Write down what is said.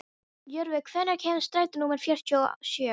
Jörvi, hvenær kemur strætó númer fjörutíu og sjö?